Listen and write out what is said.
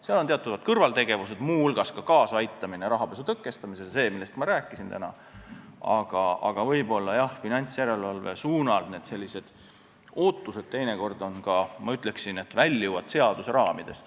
Seal on teatavad kõrvaltegevused, muu hulgas kaasaaitamine rahapesu tõkestamisele, see, millest ma täna rääkisin, aga võib-olla sellised ootused finantsjärelevalve suunal teinekord väljuvad seaduse raamidest.